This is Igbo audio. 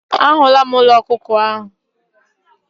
A hụla m ụlọ ọkụkọ ahụ.